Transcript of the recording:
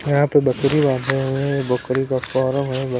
यहां पे बकरी बंधे हुए बकरी का फरम है यहाँ।